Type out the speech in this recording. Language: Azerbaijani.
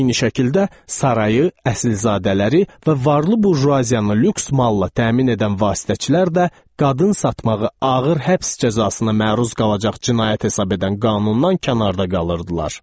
Eyni şəkildə sarayı, əsilzadələri və varlı burjuaziyanı lüks malla təmin edən vasitəçilər də qadın satmağı ağır həbs cəzasına məruz qalacaq cinayət hesab edən qanundan kənarda qalırdılar.